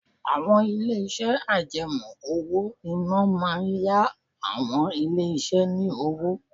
Àwọn ilé-iṣẹ́ àjẹmó owó-ìná máa ń yá àwọn ilé iṣẹ́ ni owó.